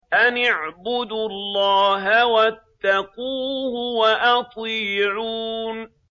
أَنِ اعْبُدُوا اللَّهَ وَاتَّقُوهُ وَأَطِيعُونِ